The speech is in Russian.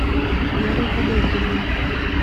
веры валерьевны